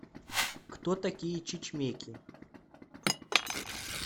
кто такие чучмеки